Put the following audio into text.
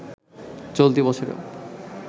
চলতি বছরেও